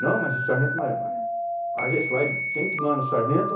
Não, mas o sargento... Mas, a gente vai, quem que manda no sargento?